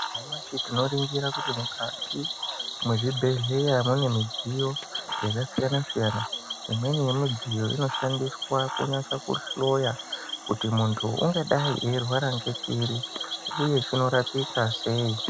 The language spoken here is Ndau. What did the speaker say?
Nyamashi tinoringira kuti mukati mwezvibhedhleya mune midziyo yakasiyana siyana imweni yemidziyo inoshandiswa kunasa kuhloya kuti muntu ungadai eirwara ngechiri uye chinorapika sei.